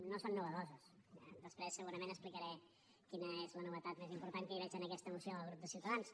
no són innovadores eh després segurament explicaré quina és la novetat més important que hi veig en aquesta moció del grup de ciutadans